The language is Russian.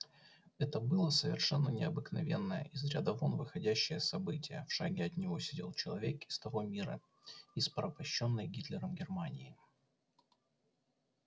это было совершенно необыкновенное из ряда вон выходящее событие в шаге от него сидел человек из того мира из порабощённой гитлером германии